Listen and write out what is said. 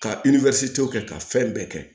Ka kɛ ka fɛn bɛɛ kɛ